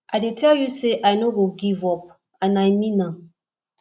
i tell you say i no go give up and i mean am